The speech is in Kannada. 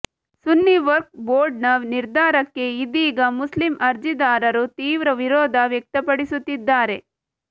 ಸುನ್ನಿ ವಕ್ಫ್ ಬೋರ್ಡ್ ನ ನಿರ್ಧಾರಕ್ಕೆ ಇದೀಗ ಮುಸ್ಲಿಂ ಅರ್ಜಿದಾರರು ತೀವ್ರ ವಿರೋಧ ವ್ಯಕ್ತಪಡಿಸುತ್ತಿದ್ದಾರೆ